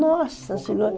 Nossa Senhora!